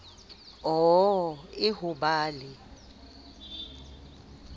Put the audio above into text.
oo e ho ba le